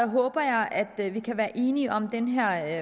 håber jeg at vi kan være enige om den her